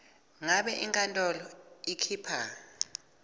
ngabe inkantolo ikhipha